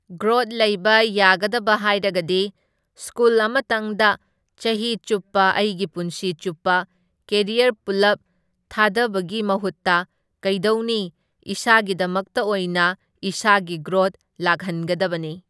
Growth ꯂꯩꯕ ꯌꯥꯒꯗꯕ ꯍꯥꯏꯔꯒꯗꯤ ꯁ꯭ꯀꯨꯜ ꯑꯃꯇꯪꯗ ꯆꯥꯍꯤ ꯆꯨꯞꯄ ꯑꯩꯒꯤ ꯄꯨꯟꯁꯤ ꯆꯨꯞꯄ ꯀꯦꯔꯤꯌꯔ ꯄꯨꯜꯂꯞ ꯊꯥꯗꯕꯒꯤ ꯃꯥꯍꯨꯠꯇ ꯀꯩꯗꯧꯅꯤ ꯏꯁꯥꯒꯤꯗꯃꯛꯇ ꯑꯣꯏꯅ ꯏꯁꯥꯒꯤ ꯒ꯭ꯔꯣꯠ ꯂꯥꯛꯍꯟꯒꯗꯕꯅꯤ꯫